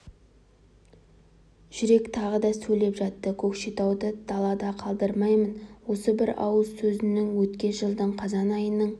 жүрек тағы да сөйлеп жатты көкшетауды далада қалдырмаймын осы бір ауыз сөзіңізді өткен жылдың қазан айының